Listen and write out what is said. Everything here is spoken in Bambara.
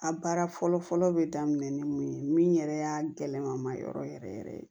A baara fɔlɔ fɔlɔ bɛ daminɛ ni mun ye min yɛrɛ y'a gɛlɛlama ma yɔrɔ yɛrɛ yɛrɛ ye